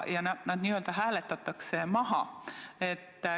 Ja nood esimesed n-ö hääletatakse maha.